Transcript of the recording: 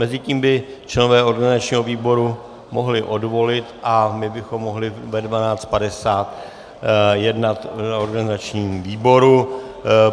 Mezitím by členové organizačního výboru mohli odvolit a my bychom mohli ve 12.50 jednat na organizačním výboru.